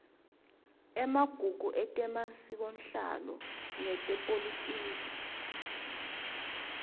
emagugu etemasikonhlalo netepolitiki